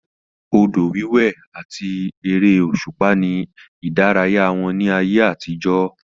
Odò wíwé àti ère òṣùpá ni ìdárayá wọn ní ayé àtijọ́